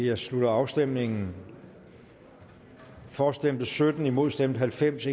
jeg slutter afstemningen for stemte sytten imod stemte halvfems